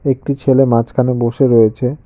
একটি ছেলে মাঝখানে বসে রয়েছে।